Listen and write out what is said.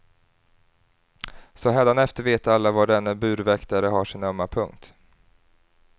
Så hädanefter vet alla var denne burväktare har sin ömma punkt.